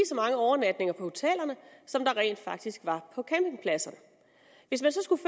så mange overnatninger på hotellerne som der rent faktisk var på campingpladserne hvis man så skulle